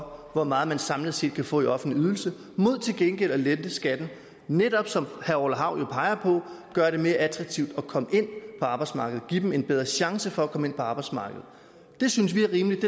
over hvor meget man samlet set kan få i offentlig ydelse mod til gengæld at lette skatten og netop som herre orla hav peger på gøre det mere attraktivt at komme ind på arbejdsmarkedet give dem en bedre chance for at komme ind på arbejdsmarkedet det synes vi er rimeligt